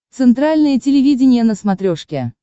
центральное телевидение на смотрешке